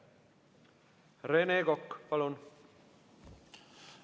Rene Kokk, palun!